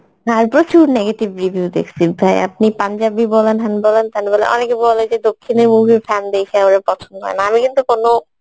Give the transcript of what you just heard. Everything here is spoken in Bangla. হ্যাঁ প্রচুর negative review দেখসি আপনি পাঞ্জাবি হ্যান বলেন ত্যান বলেন অনেকে বলেন যে দক্ষিণী movie র দেখে পছন্দ হয়না আমি কিন্তু কোনো